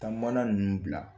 Taa mana ninnu bila